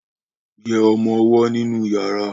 yé ọmọ owó nínú yàrá.